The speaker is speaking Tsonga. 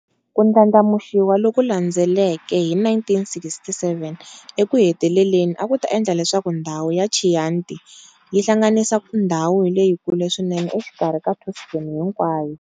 Ku ndlandlamuxiwa loku landzeleke hi 1967 eku heteleleni a ku ta endla leswaku ndhawu ya Chianti yi hlanganisa ndhawu leyikulu swinene exikarhi ka Tuscany hinkwayo.